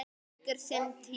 Allt tekur sinn tíma.